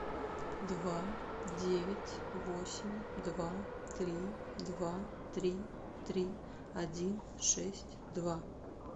два девять восемь два три два три три один шесть два